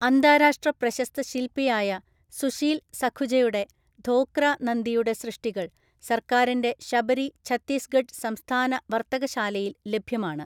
അന്താരാഷ്ട്രപ്രശസ്ത ശിൽപിയായ സുശീൽ സഖുജയുടെ ധോക്ര നന്ദിയുടെ സൃഷ്ടികൾ സർക്കാരിന്റെ ശബരി ഛത്തീസ്ഗഡ് സംസ്ഥാന വര്‍ത്തകശാലയില്‍ ലഭ്യമാണ്.